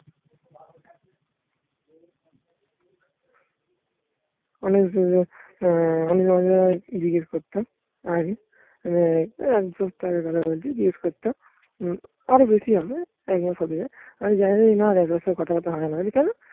করতাম আরো বেশি হবে একমাস হতে আমি জানি না কথাবার্তা হয় না বলছে কেন